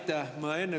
Aitäh!